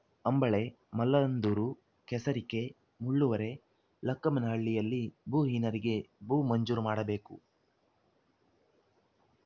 ಅಂಬಳೆ ಮಲ್ಲಂದೂರು ಕೆಸರಿಕೆ ಮುಳ್ಳುವರೆ ಲಕ್ಕಮ್ಮನಹಳ್ಳಿಯಲ್ಲಿ ಭೂಹೀನರಿಗೆ ಭೂ ಮಂಜೂರು ಮಾಡಬೇಕು